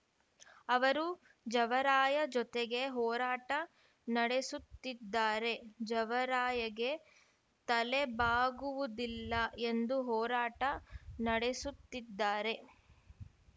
ಅವರು ಜವರಾಯ ಜೊತೆಗೆ ಹೋರಾಟ ನಡೆಸುತ್ತಿದ್ದಾರೆ ಜವರಾಯಗೆ ತಲೆಬಾಗುವುದಿಲ್ಲ ಎಂದು ಹೋರಾಟ ನಡೆಸುತ್ತಿದ್ದಾರೆ